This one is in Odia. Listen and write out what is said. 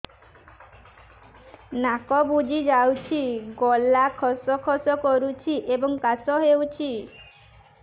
ନାକ ବୁଜି ଯାଉଛି ଗଳା ଖସ ଖସ କରୁଛି ଏବଂ କାଶ ହେଉଛି